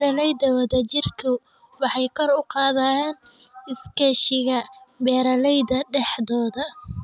Beeralayda wadajirku waxay kor u qaadaan iskaashiga beeralayda dhexdooda.